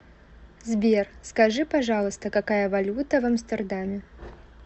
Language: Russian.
сбер скажи пожалуйста какая валюта в амстердаме